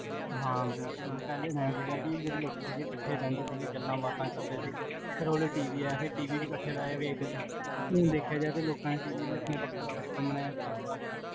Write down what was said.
ਹਾਂ ਬਿਲਕੁਲ ਪਹਲੇ ਮੈਨੂ ਇਹ ਸੀਗਾ ਕੀ ਜੇਹੜੇ ਲੋਕੀ ਸੀਗੇ ਕਠੇ ਰਹੰਦੇ ਸੀਗੇ, ਗੱਲਾਂ ਬਾਤਾਂ ਕਰਦੇ ਸੀ ਫੇਰ ਓਦੇ TV ਆਇਆ TV ਵੀ ਕਠੇ ਬੇਹ ਕੇ ਵੇਖਦੇ ਸੀ ਊਂ ਵੇਖਿਆ ਜਾਵੇ ਲੋਕਾਂ ਨੇ TV ਵੀ ਆਪਣੇ ਵਖਰੇ ਵਖਰੇ ਕਮਰਿਆਂ ਚ ਲਗਵਾ ਲੇਆ